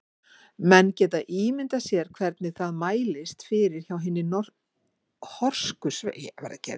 Menn geta ímyndað sér hvernig það mælist fyrir hjá hinni horsku sveit.